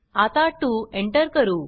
आता 2एंटर करू